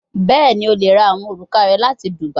Bẹẹni, o le ra awọn oruka rẹ lati dubia